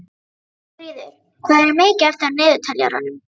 Dagfríður, hvað er mikið eftir af niðurteljaranum?